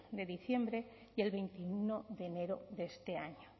de diciembre y el veintiuno de enero de este año